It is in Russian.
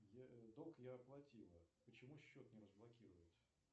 долг я оплатила почему счет не разблокируют